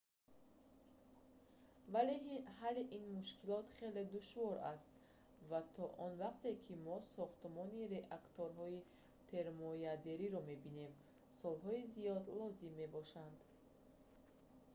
вале ҳалли ин мушкилот хеле душвор аст ва то он вақте ки мо сохтумони реакторҳои термоядериро мебинем солҳои зиёд лозим мебошанд